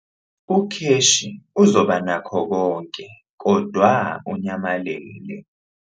Ukheshi uzoba nakho konke kodwa unyamalele.